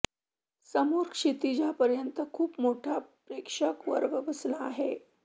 समोर क्षितिजापर्यंत खूप मोठा प्रेक्षक वर्ग बसला आहे